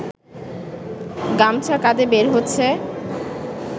গামছা কাঁধে বের হচ্ছে